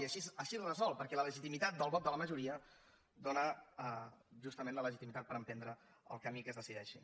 i així es resol perquè la legitimitat del vot de la majoria dóna justament la legitimitat per emprendre el camí que es decideixi